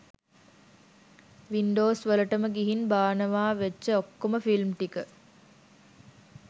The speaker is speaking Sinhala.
වින්ඩෝස්වලටම ගිහින් බානවාවෙච්ච ඔක්කොම ෆිල්ම් ටික